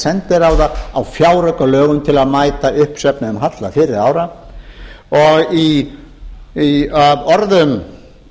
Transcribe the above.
sendiráða á fjáraukalögum til að mæta uppsöfnuðum halla fyrri ára af orðum